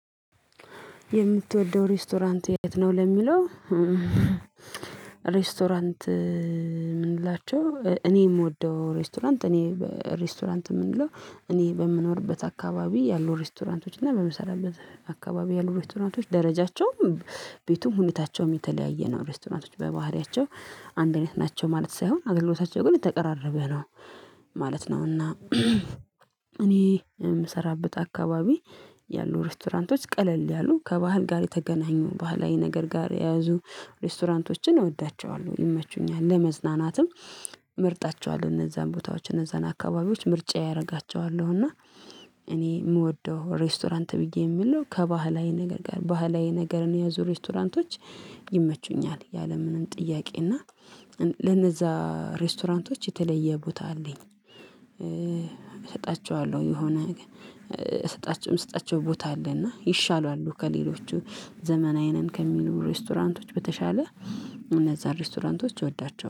የምትወደው ሬስቶራንት የት ነው ለሚለው? ሬስቶራንት የምንላቸው እኔ የምወደው ሬስቶራንት እኔ ሬስቶራንት የምንለው እኔ በምኖርበት አካባቢ ያሉ ሬስቶራንቶች እና በመሰራበት አካባቢ ያሉ ሬስቶራንቶች ደረጃቸውም ቤቱም ሁኔታቸውም የተለያየ ነው ሬስቶራንቶቹ በባህሪያቸው አንድ እይነት ናቸው ማለት ሳይሆን አገልግሎታቸው ግን የተቀራረበ ነው ማለት ነውና። እኔ የምሰራበት አካባቢ ያሉ ሬስቶራንቶች ቀለል ያሉ ከባህል ጋር የተገናኙ ባህላዊ ነገር ጋር የያዙ ሬስቶራንቶችን እወዳቸዋለሁ ይመቹኛል ለመዝናናትም እመርጣቸዋለሁ እነዛን ቦታዎች እነዛን አካባቢዎች ምርጫየ አደርጋቸዋለሁ እና። እኔ የምወደው ሬስቶራንት ብዬ የምለው ከባህላዊ ነገር ጋር ባህላዊ ነገርን የያዙ ሬስቶራንቶች ይመቹኛል ያለምንም ጥያቄ እና ለነዛ ሬስቶራንቶች የተለየ ቦታ አለኝ። እሰጣቸዋለሁ የሆነ እሰጣቸውም ስጣቸው ቦታ አለና ይሻላሉ ከሌሎቹ ዘመናዊ ነን ከሚሉ ሬስቶራንቶች በተሻለ እነዛ ሬስቶራንቶች እወዳቸዋለሁ